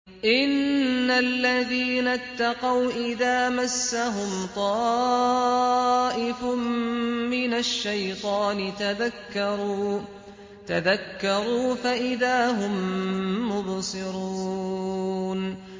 إِنَّ الَّذِينَ اتَّقَوْا إِذَا مَسَّهُمْ طَائِفٌ مِّنَ الشَّيْطَانِ تَذَكَّرُوا فَإِذَا هُم مُّبْصِرُونَ